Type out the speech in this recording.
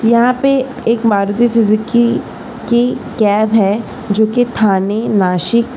यहा पे एक मारुति सुज़ुकी की कॅब है जो की थाने नाशिक--